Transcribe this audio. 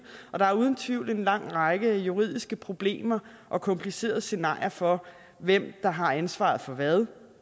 og der er uden tvivl en lang række juridiske problemer og komplicerede scenarier for hvem der har ansvaret for hvad